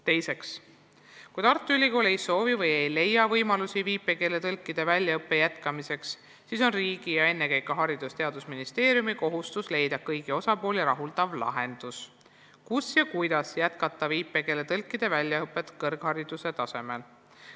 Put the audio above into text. Teine küsimus: "Kui Tartu Ülikool ei soovi / ei leia võimalusi viipekeeletõlkide väljaõppe jätkamiseks, siis on riigi ja ennekõike Haridus- ja Teadusministeeriumi kohustus leida kõiki osapooli rahuldav lahendus, kus ja kuidas jätkata viipekeeletõlkide väljaõpet kõrghariduse tasemel.